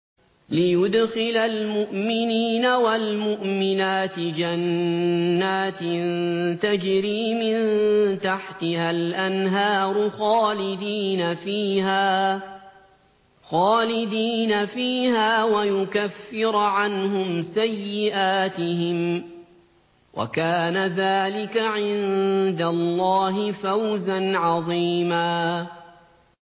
لِّيُدْخِلَ الْمُؤْمِنِينَ وَالْمُؤْمِنَاتِ جَنَّاتٍ تَجْرِي مِن تَحْتِهَا الْأَنْهَارُ خَالِدِينَ فِيهَا وَيُكَفِّرَ عَنْهُمْ سَيِّئَاتِهِمْ ۚ وَكَانَ ذَٰلِكَ عِندَ اللَّهِ فَوْزًا عَظِيمًا